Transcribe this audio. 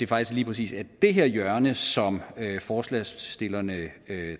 præcis er det her hjørne som forslagsstillerne